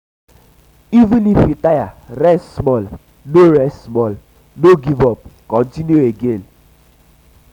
even if you tire rest small no rest small no give up continue again